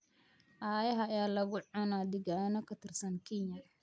Ayaxa ayaa lagu cunaa deegaano ka tirsan Kenya